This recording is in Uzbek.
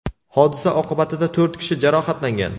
Hodisa oqibatida to‘rt kishi jarohatlangan.